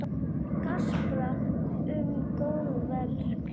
Gaspra um góðverk sín.